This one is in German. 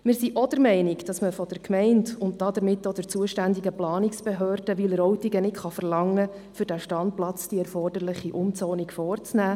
Wir sind auch der Meinung, dass man von der Gemeinde und damit auch von der zuständigen Planungsbehörde Wileroltigen nicht verlangen kann, die für die Erstellung erforderliche Umzonung vorzunehmen.